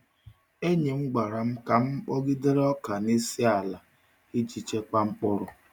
Enyi m gwara m ka m kpọgidere ọka n’isi ala iji chekwaa mkpụrụ.